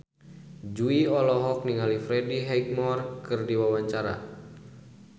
Jui olohok ningali Freddie Highmore keur diwawancara